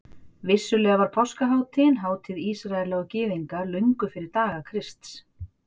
Vissulega var páskahátíðin hátíð Ísraela og Gyðinga löngu fyrir daga Krists.